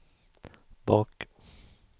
bak